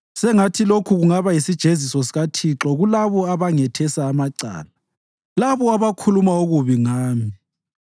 Sengathi lokhu kungaba yisijeziso sikaThixo kulabo abangethesa amacala, labo abakhuluma okubi ngami.